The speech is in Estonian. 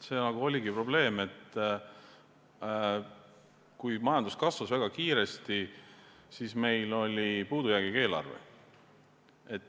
See oligi probleem, et kui majandus kasvas väga kiiresti, siis meil oli puudujäägiga eelarve.